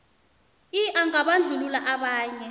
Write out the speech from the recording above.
i angabandlululi abanye